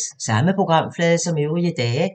Samme programflade som øvrige dage